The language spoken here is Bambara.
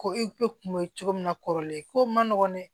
Ko e kun be cogo min na kɔrɔlen ko man nɔgɔn dɛ